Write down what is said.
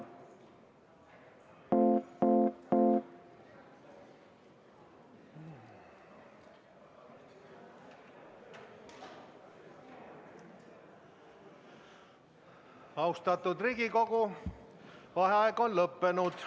Austatud Riigikogu, vaheaeg on lõppenud.